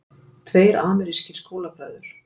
Tveir amerískir skólabræður